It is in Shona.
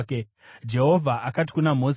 Jehovha akati kuna Mozisi,